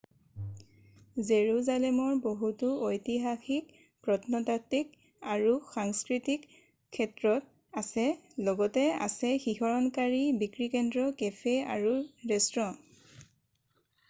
জেৰুজালেমৰ বহুতো ঐতিহাসিক প্ৰত্নতাত্বিক আৰু সংস্কৃতিক ক্ষেত্ৰ আছে লগতে আছে শিহৰণকাৰী বিক্ৰী কেন্দ্ৰ কেফে আৰু ৰেস্তোঁৰা